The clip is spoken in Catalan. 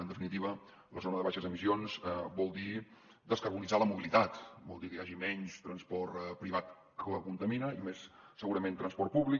en definitiva la zona de baixes emissions vol dir descarbonitzar la mobilitat vol dir que hi hagi menys transport privat que contamina i més segurament transport públic